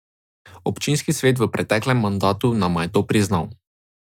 Občinski svet v preteklem mandatu nama je to priznal.